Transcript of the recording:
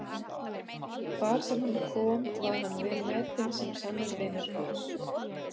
Hvar sem hann kom var hann velmetinn sem sannur vinur Guðs.